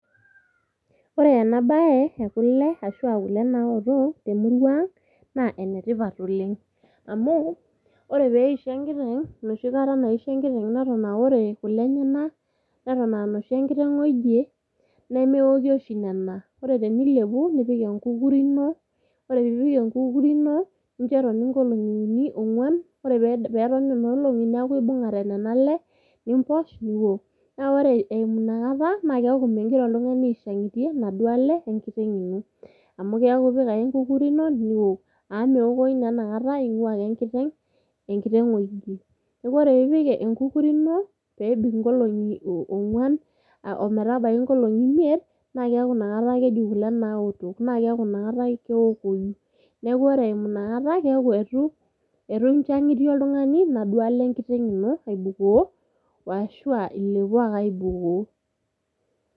Ore ena bae ekule ashuaa kule naotok temurua ang naa ene tipat oleng . Amu ore peisho enkiteng ,enoshi kata naisho enkiteng eton aa ore kule enyenak neton aa inoshi enkiteng oigie ,nemeoki oshi nena, ore tenilepu nipik enkukuri ino, ore piipik enkukuri ino nincho etoni nkolongi uni ,ongwan ,ore peton nena olongi neaku ibungate nena ale , nimposh ,niok. Naa ore eimu inakata naa keaku mingira oltungani aishangitie inaduoo ale enkiteng ino. Amu keaku ipik ake enkukuri ino niok .Amu meokoyu naa inakata ingwaa ake enkiteng, enkiteng oigie .Niaku ore piipik enkukuri ino peebik inkolongi ongwan ,ometabaiki nkolongi imiet, naa keaku inakata keji kule naotok, naa keaku ina kata keokoyu. Niaku ore eimu ina kata keaku etu inchangitie oltungani inaduoo ale enkiteng ino aibukoo washuaa ilepoo ake aibukoo.